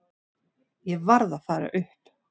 Ég varð að fara upp.